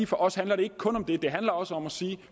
for os handler det ikke kun om det det handler også om at sige at